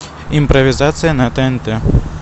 импровизация на тнт